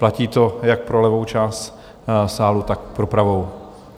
Platí to jak pro levou část sálu, tak pro pravou.